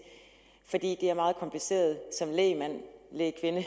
for det er meget kompliceret som lægmand lægkvinde